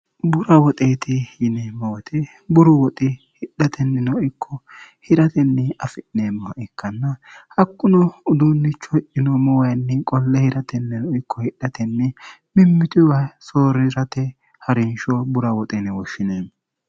bura woxeeti yinemmoote buru woxi hidhatennino ikko hi'ratenni afi'neemmo ikkanna hakkuno uduunnicho hi'yinoommo wayinni qolle hiratennino ikko hidhatenni mimmituwa soorirate harinsho bura woxeenni woshshineemmo